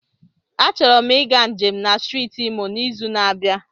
Achọrọ m ịga njem na steeti Imo n'izu na-abịa.